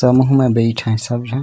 तमहु में बैठे हे सब झन --